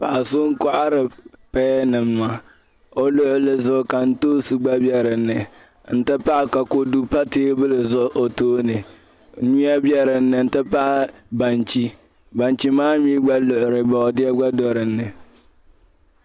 Paɣa so n-kohiri pearnima. O luɣili ka ntoosi gba biɛ di ni, n-ti pahi ka kodu pa tabili zuɣu o tooni. Nyuya biɛ di ni nti pahi banchi. Banchi maa mi gba luɣili boodeɛ gba do di ni.